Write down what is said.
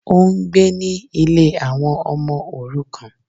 Ó n gbé ní Ilé àwọn ọmọ òrukàn